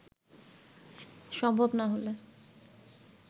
সম্ভব না হলে